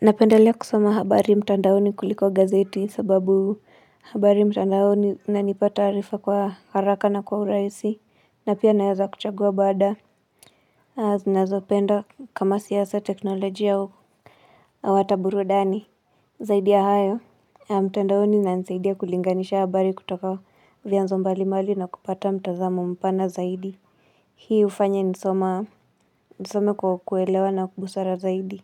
Napendelea kusoma habari mtandaoni kuliko gazeti sababu habari mtandaoni nanipa taarifa kwa haraka na kwa urahisi na pia naweza kuchagua bada. Zinazopenda kama siasa teknolojia au ata burudani. Zaidia ya hayo. Mtandaoni nanisaidia kulinganisha habari kutoka vyanzo mbali mbali na kupata mtazamo mpana zaidi. Hii ufanya nisoma kwa kuelewa na kwa busara zaidi.